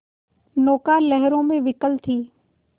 नौका लहरों में विकल थी